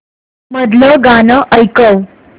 मधलं गाणं ऐकव